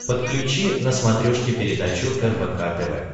подключи на смотрешке передачу рбк тв